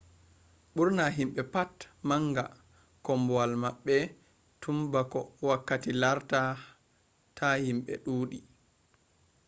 bur’na himbe pat nanga kombowal mabbe tun ba’ko wakkati larta ta himbe duudi